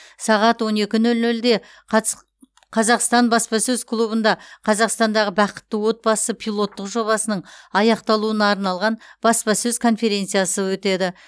сағат он екі нөл нөлде қатс қазақстан баспасөз клубында қазақстандағы бақытты отбасы пилоттық жобасының аяқталуына арналған баспасөз конференциясы өтеді